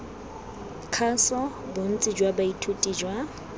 kgaso bontsi jwa baithuti jwa